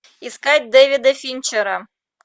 искать дэвида финчера